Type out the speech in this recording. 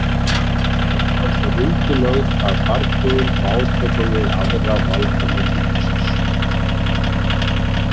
Ævi hans var undirlögð af bardögum og átökum við aðra valdamenn ríkisins.